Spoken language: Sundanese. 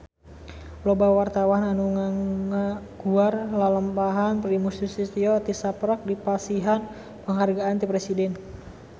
Loba wartawan anu ngaguar lalampahan Primus Yustisio tisaprak dipasihan panghargaan ti Presiden